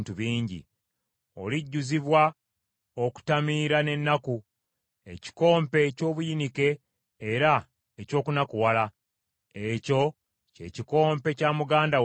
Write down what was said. Olijjuzibwa okutamiira n’ennaku, ekikompe eky’obuyinike era eky’okunakuwala, ekyo kye kikompe kya muganda wo Samaliya.